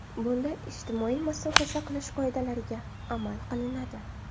Bunda ijtimoiy masofa saqlash qoidalariga amal qilinadi.